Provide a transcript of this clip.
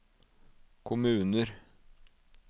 kommuner